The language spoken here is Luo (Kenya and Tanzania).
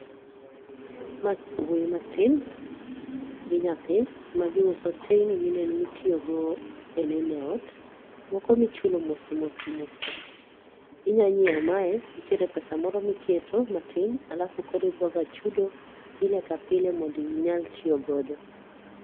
Mae wuoyi matin gi nyathi ma giuso teini mineno mitiyogo e neno e ot, moko michulo mos mos mos ka. Inyanyieo mae nitiere pesa moro miketo matin alafu koro iboga chudo pile ka pile mondo inyal tiyogodo.